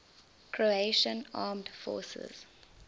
croatian armed forces